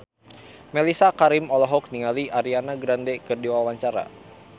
Mellisa Karim olohok ningali Ariana Grande keur diwawancara